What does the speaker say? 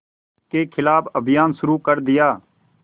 के ख़िलाफ़ अभियान शुरू कर दिया